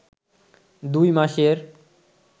দুই মাসের